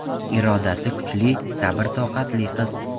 Irodasi kuchli, sabr-toqatli qiz.